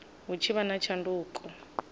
hu tshi vha na tshanduko